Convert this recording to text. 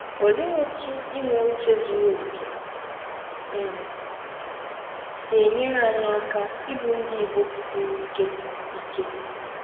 Ọlee ọtụ inwe ụche zụrụ ọkè um si enyere anyị aka ịbụ Ndị Igbọ kwụsiri ike ike?